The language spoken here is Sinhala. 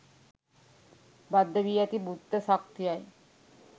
බද්ධ වී ඇති බුද්ධ ශක්තියයි